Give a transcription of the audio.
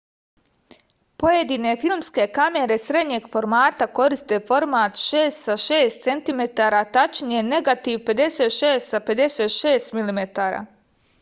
pojedine filmske kamere srednjeg formata koriste format 6 sa 6 cm tačnije negativ 56 sa 56 mm